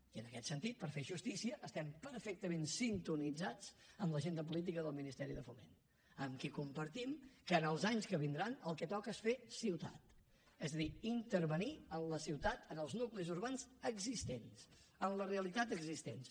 i en aquest sentit per fer justícia estem perfectament sintonitzats amb l’agenda política del ministeri de foment amb qui compartim que els anys que vindran el que toca és fer ciutat és a dir intervenir en la ciutat en els nuclis urbans existents en les realitats existents